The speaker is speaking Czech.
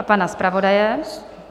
A pana zpravodaje.